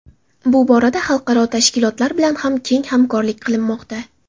Bu borada xalqaro tashkilotlar bilan ham keng hamkorlik qilinmoqda.